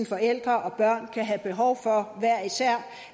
forældre og børn kan have behov for hver især